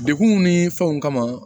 Dekunw ni fɛnw kama